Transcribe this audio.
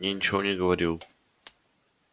я ничего не говорил